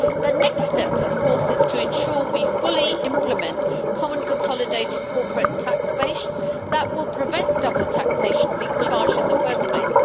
The next step, of course, is to ensure we fully implement a common consolidated corporate tax base that will prevent double taxation being charged in the first place.